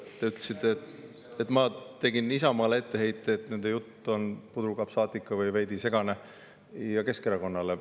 Te ütlesite, et ma tegin Isamaale etteheite, et nende jutt on puderkapsaatika või veidi segane, ja ka Keskerakonnale.